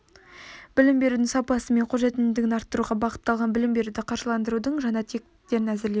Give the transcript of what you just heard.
білім берудің сапасы мен қолжетімділігін арттыруға бағытталған білім беруді қаржыландырудың жаңа тетіктерін әзірлеу